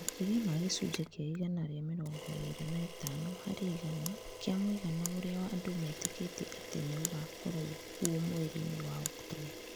Maki͂ria ma gi͂cunji͂ ki͂a igana na mi͂rongo i͂ i͂ri͂ na i͂tano hari͂ igana ki͂a mu͂igana u͂ri͂a andu͂ meti͂ki͂ti͂e ati͂ ni͂ u͂gaakoru͂o kuo mweri-ini͂ wa Oktomba.